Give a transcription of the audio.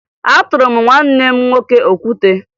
Atụrụ m nwanne m nwoke okwute